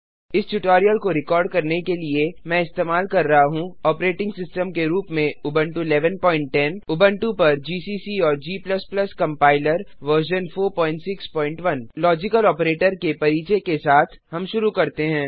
इस ट्यूटोरियल को रिकॉर्ड करने के लिए मैं इस्तेमाल कर रहा हूँ ऑपरेटिंग सिस्टम के रूप में उबंटू 1110 उबंटू पर जीसीसी और g compiler version 461 logical operator के परिचय के साथ हम शुरू करते हैं